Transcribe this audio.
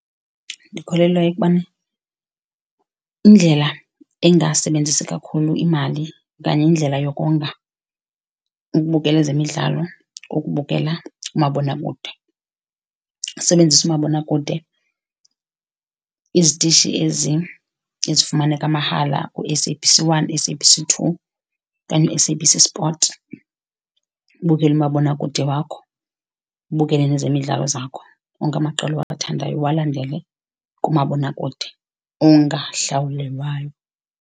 Ndikholelwa ekubani indlela engasebenzisi kakhulu imali okanye indlela yokonga ukubukela ezemidlalo kukubukela umabonakude. Usebenzise umabonakude izitishi ezifumaneka mahala u-S_A_B_C one, u-S_A_B_C two okanye u-S_A_B_C Sport ubukele umabonakude wakho, ubukele nezemidlalo zakho onke amaqela owathandayo uwalandele kumabonakude wakho ongahlawulelwayo.